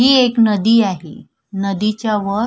ही एक नदी आहे नदीच्या वर--